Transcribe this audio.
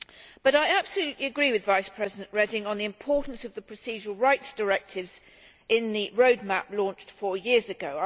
But I absolutely agree with Vice President Reding on the importance of the procedural rights directives in the roadmap launched four years ago.